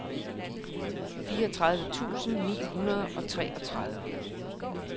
fireogtredive tusind ni hundrede og treogtredive